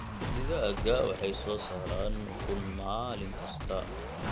Digaagga waxay soo saaraan ukun maalin kasta.